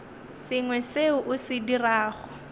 sengwe seo o se dirago